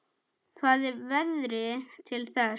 Það er veðrið til þess.